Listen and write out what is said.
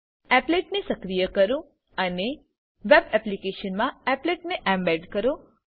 applet ને સક્રિય કરો અને વેબ એપ્લીકેશનમાં એપ્લેટ ને એમ્બેડ કરો